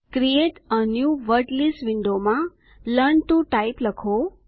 create a new word list વિન્ડોમાં learn to type લખો